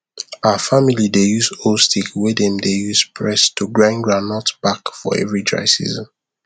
our family dey use old stick wey dem dey use press to grind groundnut back for every dry season